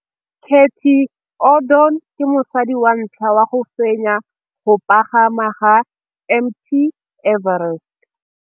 Cathy Odowd ke mosadi wa ntlha wa go fenya go pagama ga Mt Everest.